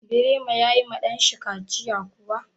Birema ya yi ma ɗan shi kaciya kuwa?